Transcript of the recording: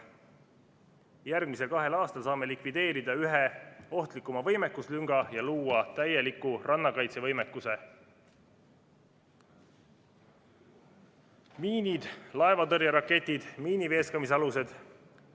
Järgmisel kahel aastal saame likvideerida ühe ohtlikuma võimekuslünga ja luua täieliku rannakaitsevõimekuse: miinid, laevatõrjeraketid, miini veeskamise alused.